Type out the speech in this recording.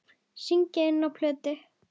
Syngja inná plötu.